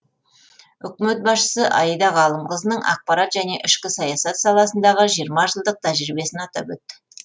үкімет басшысы аида ғалымқызының ақпарат және ішкі саясат саласындағы жиырма жылдық тәжірибесін атап өтті